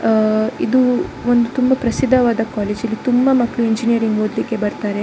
ಆ ಇದು ಒಂದು ತುಂಬಾ ಪ್ರಸಿದ್ದವಾದ ಕಾಲೇಜ್ ಇಲ್ಲಿ ತುಂಬಾ ಮಕ್ಕಳು ಇಂಜಿನಿಯರಿಂಗ್ ಓದಲಿಕ್ಕೆ ಬರ್ತಾರೆ.